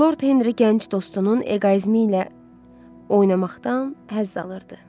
Lord Henri gənc dostunun eqoizmi ilə oynamaqdan həzz alırdı.